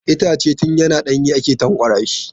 Itace tun yana ɗanye ake lanƙwasa shi.